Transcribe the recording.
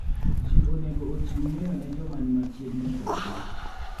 Ji onego ochiw ng'eyo ne joma ni machiegni kodgi.